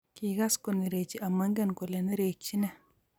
Kikas konerechi omoingen kole nerekchin ne